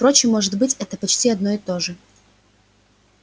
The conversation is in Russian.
впрочем может быть это почти одно и то же